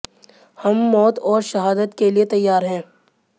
हम मौत और शहादत के लिए तैयार हैं